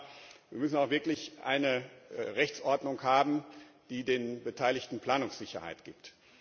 Aber wir müssen auch wirklich eine Rechtsordnung haben, die den Beteiligten Planungssicherheit gibt.